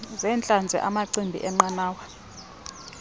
zeentlanzi amachibi eenqanawa